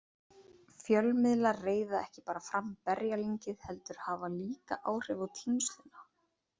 Fjölmiðlar reiða ekki bara fram berjalyngið heldur hafa líka áhrif á tínsluna.